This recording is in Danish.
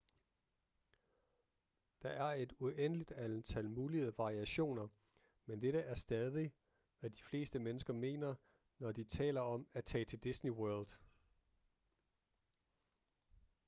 der er et uendeligt antal mulige variationer men dette er stadig hvad de fleste mennesker mener når de taler om at tage til disney world